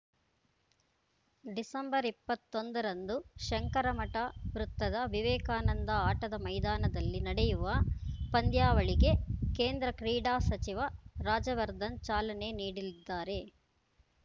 December ಇಪ್ಪತ್ತೊಂದರಂದು ಶಂಕರಮಠ ವೃತ್ತದ ವಿವೇಕಾನಂದ ಆಟದ ಮೈದಾನದಲ್ಲಿ ನಡೆಯುವ ಪಂದ್ಯಾವಳಿಗೆ ಕೇಂದ್ರ ಕ್ರೀಡಾ ಸಚಿವ ರಾಜವರ್ಧನ್‌ ಚಾಲನೆ ನೀಡಲಿದ್ದಾರೆ